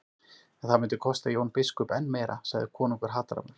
En það myndi kosta Jón biskup enn meira, sagði konungur hatrammur.